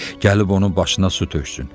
Gəlib onun başına su töksün.